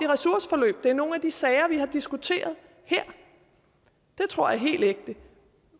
ressourceforløb det er nogle af de sager vi har diskuteret her det tror jeg er helt ægte